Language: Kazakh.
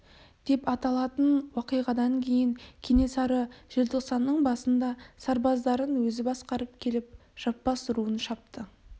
деп аталатын уақиғадан кейін кенесары желтоқсанның басында сарбаздарын өзі басқарып келіп жаппас руын шапты